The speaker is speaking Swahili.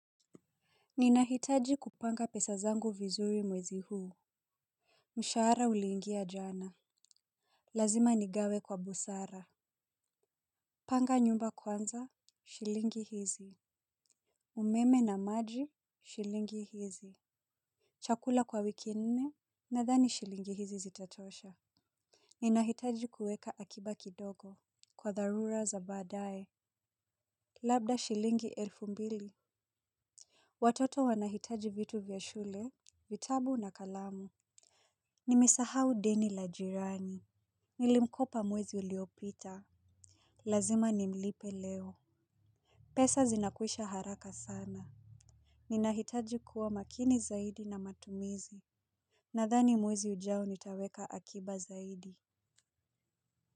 Ninahitaji kupanga pesa zangu vizuri mwezi huu. Mshahara ulingia jana. Lazima nigawe kwa busara. Panga nyumba kwanza, shilingi hizi umeme na maji shilingi hizi chakula kwa wiki nne, nathani shilingi hizi zitatosha. Ninahitaji kuweka akiba kidogo. Kwa dharura za badae labda shilingi elfu mbili. Watoto wanahitaji vitu vya shule vitabu na kalamu. Nimesahau deni la jirani. Nilimkopa mwezi uliopita. Lazima nimlipe leo. Pesa zinakwisha haraka sana. Ninahitaji kuwa makini zaidi na matumizi. Nadhani mwezi ujao nitaweka akiba zaidi.